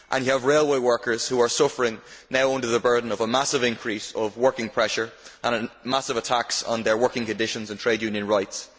You also have railway workers suffering under the burden of a massive increase of working pressure and of massive attacks on their working conditions and trade union rights.